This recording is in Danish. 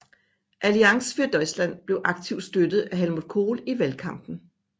Allianz für Deutschland blev aktivt støttet af Helmut Kohl i valgkampen